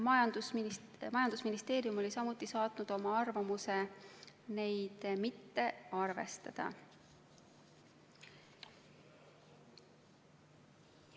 Majandusministeerium oli samuti saatnud oma arvamuse neid mitte arvestada.